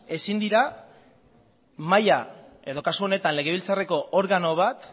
ezin dira mahaia edo kasu honetan legebiltzarreko organo bat